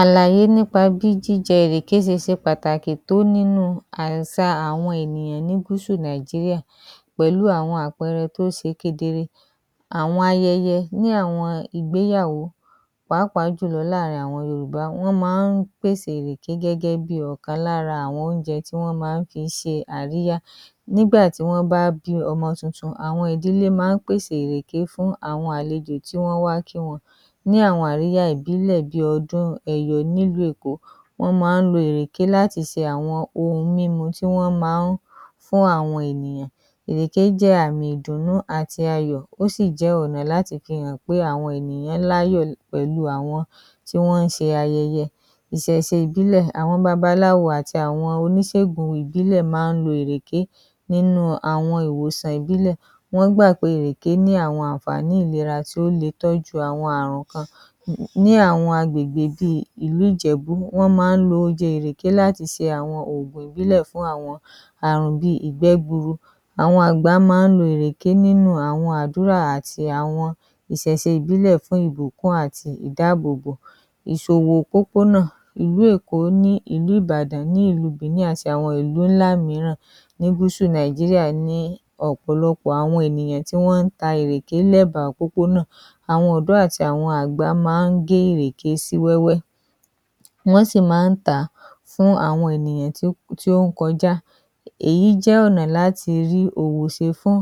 Àlàyé nípa bí jíjẹ ìrèké se se pàtàkì tó nínú àsà àwọn ènìyàn ní gúúsù Nàìjíríà, pẹ̀lú àwọn àpẹẹrẹ tó ṣe kedere, àwọn ayẹyẹ ní àwọn ìgbéyàwó pàápàá jùlọ láàrin àwọn Yorùbá, wọ́n maá ń pèsè írèké gẹ́gẹ́ bí ọ̀kan lára àwọn oúnjẹ tí wọ́n maá n fi se àríyá, nígbàtí wọ́n bá bí ọmọ tuntun, àwọn ìdílé maá ń pèsè írèké fún àwọn àlejò tí wọ́n á wá kí wọn. Ní àwọn àríyá ìbílẹ bí ọdún ẹ̀yọ̀ ní ìlú Èkó, wọ́n maá ń lo ìrèké láti se àwọn ohun mímu tí wọ́n maá ń fún àwọn ènìyàn. Ìrèké jẹ́ àmì ìdùnnú àti ayọ̀, ó sì jẹ́ ọnà láti fi hàn pé àwọn ènìyàn l'áyọ pẹ̀lú àwọn tí wọ́n ń se ayẹyẹ. Ìsèse ìbílẹ, àwọn babaláwo àti àwọn oníṣègùn ìbílẹ̀ maá ń lo ìrèké, nínú àwọn ìwòsàn ìbílẹ, wọ́n gbà pé ìrèké ní àwọn ànfààní ìlera tí ó le tọ́jú àwọn ààrùn kan. Ní àwọn agbègbè bí ìlú Ìjẹ̀bú, wọ́n maá ń lo oje ìrèké láti se àwọn òògùn ìbílẹ fún àwọn ààrùn bí ìgbé gbuuru. Àwọn àgbà maá ń lo ìrèké nínú àwọn ádùrá àti àwọn ìsèse ìbílẹ fún ìbùkún àti ìdáàbòbò. Ìsòwò òpópónà, ìlú Èkó ní ìlú Ìbàdàn ní ìlú Bìní àti àwọn ìlú ńlá mìíràn ní gúúsù Nàìjíríà ní ọ̀pọ̀lọpọ̀ àwọn ènìyàn tí wọ́n ń ta ìrèké l'ẹ́ba òpópónà. Àwọn ọ̀dọ́ àti àwọn àgbà maá ń gé ìrèké sí wẹ́wẹ́ wọ́n sì maá ń tàá fún àwọn ènìyàn tí, tí ó ń kọjá, èyí jẹ́ ọnà láti rí òwò se fún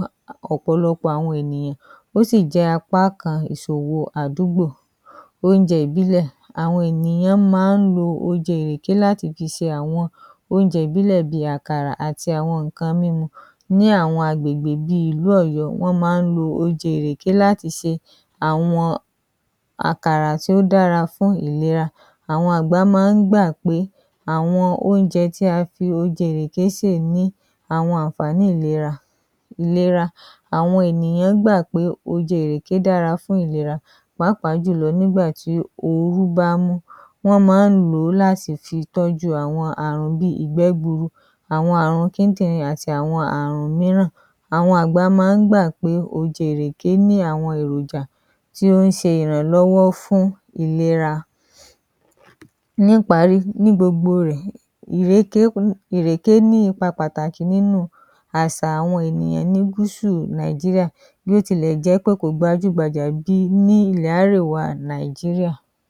ọ̀pọ̀lọpọ̀ àwọn ènìyàn, ó sì jẹ́ apá kan ìsòwò àdúgbò. Oúnjẹ ìbílẹ, àwọn ènìyàn maá ń lo oje ìrèké láti fi se àwọn oúnjẹ ìbílẹ bí àkàrà àti àwọn ńǹkan mímu. Ní àwọn agbègbè bí ìlú Ọ̀yọ́, wọ́n maá ń lo oje ìrèké láti se àwọn àkàrà tí ó dára fún ìlera, àwọn àgbà maá ń gbà pé àwọn oúnjẹ tí a fi oje ìrèké sè ni àwọn ànfààní ìlera. Ìlera, àwọn ènìyàn gbà pé oje ìrèké dára fún ìlera pàápàá jùlọ nígbàtí ooru bá ń mú, wọ́n maá ń lo láti fi tọ́jú àwọn ààrùn bíi ìgbé gbuuru, àwọn ààrùn kíndìrín àti àwọn ààrùn ìmíràn. Àwọn àgbà maá ń gbà pé oje ìrèké ní àwọn èròjà tí ó ń ṣe ìrànlọ́wọ́ fún ìlera Níparí, ní gbogbo rẹ̀, ìrèké, ìrèké ní ipá pàtàkì nínú àsà àwọn ènìyàn ní gúúsù Nàìjíríà bíótilẹ̀jẹ́pẹ́ kò gbajú gbajà bíi ní ilẹ̀ árèwá Nàìjíríà.